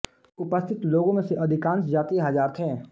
उपस्थित लोगों में से अधिकांश जातीय हज़ार थे